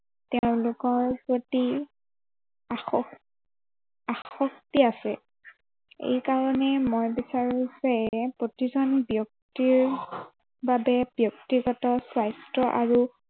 তেওঁলোকৰ প্ৰতি আস আসক্তি আছে। এই কাৰনে মই বিচাৰে যে, প্ৰতিজন ব্য়ক্তিৰ, বাবে ব্য়ক্তিগত স্বাস্থ্য় আৰু